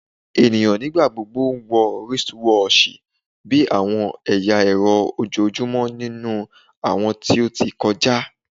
Eniyan nigbagbogbo wọ wristwatchs bi awọn ẹya ẹrọ ojoojumọ ninu awọn ti o ti kọja